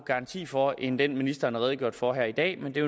garanti for end den ministeren har redegjort for her i dag men det